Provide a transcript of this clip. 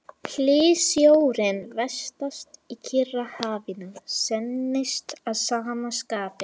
Hlýsjórinn vestast í Kyrrahafinu þynnist að sama skapi.